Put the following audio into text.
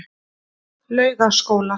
Laugaskóla